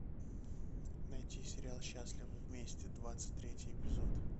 найти сериал счастливы вместе двадцать третий эпизод